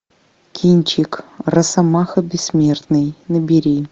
кинчик росомаха бессмертный набери